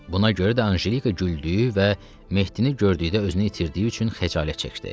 Buna görə də Anjelika güldüyü və Mehdini gördükdə özünü itirdiyi üçün xəcalət çəkdi.